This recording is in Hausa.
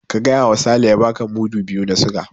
Ka faɗawa Sale ya baka mudu biyu na siga.